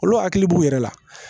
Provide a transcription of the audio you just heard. Olu hakili b'u yɛrɛ la